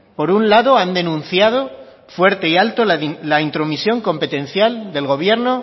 por un lado han denunciado fuerte y alto la intromisión competencial del gobierno